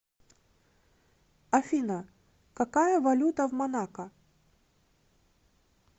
афина какая валюта в монако